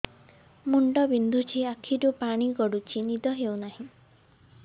ମୁଣ୍ଡ ବିନ୍ଧୁଛି ଆଖିରୁ ପାଣି ଗଡୁଛି ନିଦ ହେଉନାହିଁ